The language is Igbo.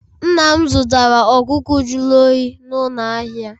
Nna m zụtara ọkụkọ jụrụ oyi n'ụlọ ahịa